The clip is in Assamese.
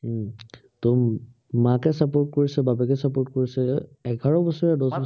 উম মাকে support কৰিছে, বাপেকে support কৰিছে, এঘাৰ বছৰীয়া